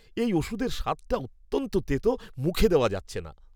এই ওষুধের স্বাদটা অত্যন্ত তেতো, মুখে দেওয়া যাচ্ছে না।